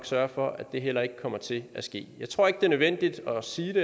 sørge for at det heller ikke kommer til at ske jeg tror ikke det er nødvendigt at sige det